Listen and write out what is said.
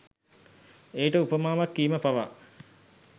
එයට උපමාවක් කීම පවා